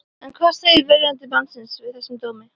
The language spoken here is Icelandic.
En hvað segir verjandi mannsins við þessum dómi?